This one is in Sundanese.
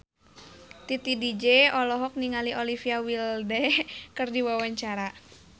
Titi DJ olohok ningali Olivia Wilde keur diwawancara